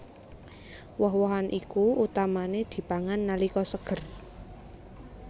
Woh wohan iki utamané dipangan nalika seger